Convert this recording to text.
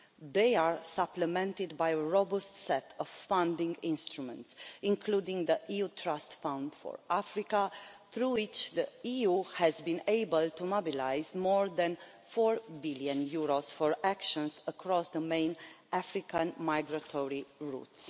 They are supplemented by a robust set of funding instruments, including the EU Emergency Trust Fund for Africa, through which the EU has been able to mobilise more than EUR 4 billion for actions across the main African migratory routes.